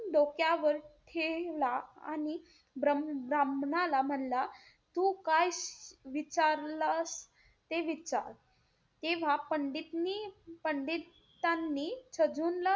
डोक्यावर ठेवला आणि ब्रम्ह~ ब्राह्मणाला म्हणला, तू काय विचारलं, ते विचार. तेव्हा पंडितने पंडितांनी छजूनला,